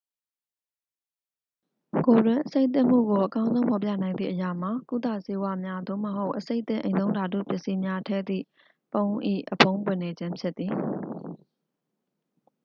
ကိုယ်တွင်းအဆိပ်သင့်မှုကို အကောင်းဆုံးဖော်ပြနိုင်သည့်အရာမှာ ကုသဆေးဝါးများ သို့မဟုတ် အဆိပ်သင့်အိမ်သုံးဓာတုပစ္စည်းများ ထည့်သည့်ပုံး၏ အဖုံးပွင့်နေခြင်းဖြစ်သည်